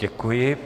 Děkuji.